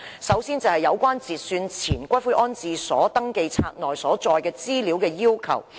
首先，我要談談有關截算前骨灰安置所登記冊內所載資料的要求。